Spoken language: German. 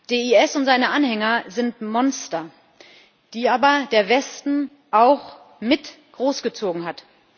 Der IS und seine Anhänger sind Monster, die aber der Westen auch mit großgezogen hat.